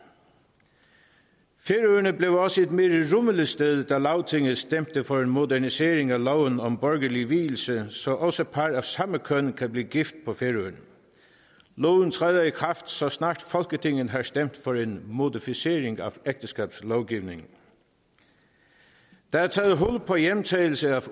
færøerne blev også et mere rummeligt sted da lagtinget stemte for en modernisering af loven om borgerlig vielse så også par af samme køn kan blive gift på færøerne loven træder i kraft så snart folketinget har stemt for en modificering af ægteskabslovgivningen der er taget hul på hjemtagelse